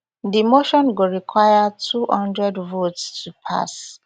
di motion go require two hundred votes to pass